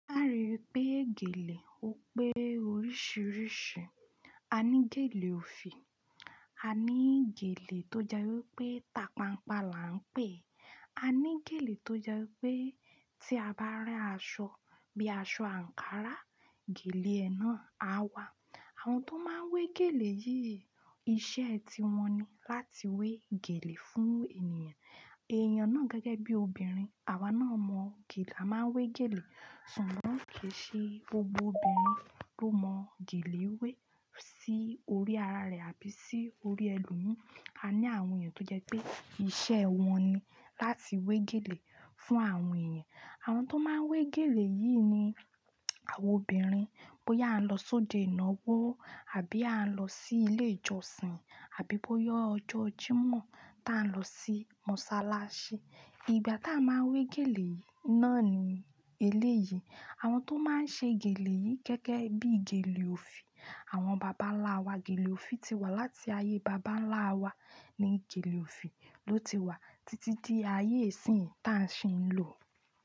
A ri wípé gèlè ó pé oríṣìíríṣìí. A ní gèlè òfì, a ní gèlè tó jẹ́ wípé tapanpa là ń pè é, a ní gèlè tó jẹ́ wípé tí a bá rán aṣọ bíi aṣọ àǹkárá, gèlè ẹ náà á wá. Àwọn tó máa ń we gèlè yìí iṣẹ́ ẹ ti wọn ni láti we gèlè fún ènìyàn. Ẹ̀yán náà gẹ́gẹ́ bí obìnrin, àwa náà mọ gèlè a máa ń we gèlè, ṣùgbọ́n kì í ṣe gbogbo obìnrin ló mọ gèlè wé sí orí ara rẹ̀ àbí sí orí ẹlòmíràn. A ní àwọn èèyàn tó jẹ́ pé iṣẹ́ wọn ni láti we gèlè fún àwọn èèyàn. Àwọn tó máa ń we gèlè yìí ni àwọn obìnrin. Bóyá a ń lọ sóde ìnáwó àbí a ń lọ sí ilé ìjọsìn àbí bóyá ọjọ́ Jímọ̀ ta ń lọ sí mọ́sálásí. Ìgbà tá a máa ń we gèlè náà ni eléyìí. Àwọn tó máa ń ṣe gèlè yìí gẹ́gẹ́ bí i gèlè òfì. Àwọn bàbá ńlá wa gèlè òfì ti wà láti ayé bàbá ńlá wa ni gèlè òfì ló ti wà títí di ayé ìsìnyí tá a sì ń lò ó.